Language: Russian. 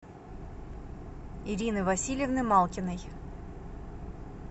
ирины васильевны малкиной